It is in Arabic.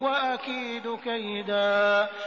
وَأَكِيدُ كَيْدًا